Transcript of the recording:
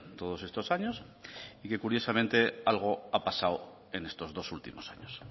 todos estos años y que curiosamente algo ha pasado en estos dos últimos años